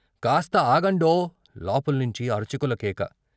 కాస్త ఆగండో " లోపల్నించి అర్చకుల కేక.